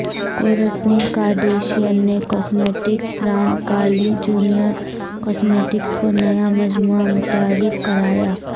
Courteney Kardashian نے cosmetics brand Kylie Jenner cosmetics کا نیا مجموعہ متعارف کرایا